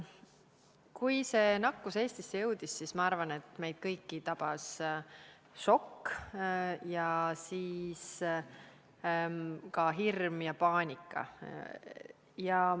Kui see nakkus Eestisse jõudis, siis minu arvates tabasid meid kõiki šokk, hirm ja paanika.